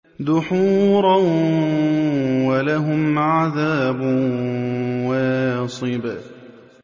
دُحُورًا ۖ وَلَهُمْ عَذَابٌ وَاصِبٌ